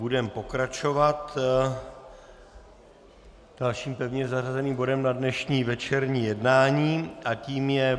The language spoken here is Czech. Budeme pokračovat dalším pevně zařazeným bodem na dnešní večerní jednání a tím je